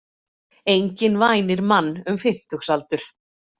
Enginn vænir mann um fimmtugsaldur.